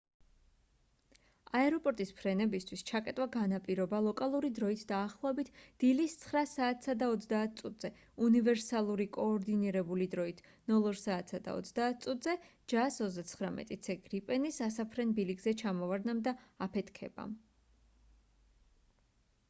აეროპორტის ფრენებისთვის ჩაკეტვა განაპირობა ლოკალური დროით დაახლოებით დილის 9:30 საათზე უნივერსალური კოორდინირებული დროით 0230 საათზე jas 39c gripen-ის ასაფრენ ბილიკზე ჩამოვარდნამ და აფეთქებამ